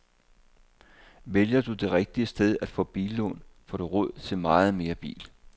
Vælger du det rigtige sted at få billån, får du råd til meget mere bil.